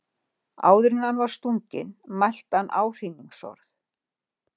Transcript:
Áður en hann var stunginn mælti hann áhrínisorð.